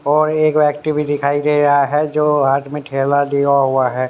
और एक व्यक्ति भी दिखाई दे रहा है जो हाथ में थेला लिया हुआ है।